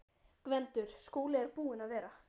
GVENDUR: Skúli er búinn að vera.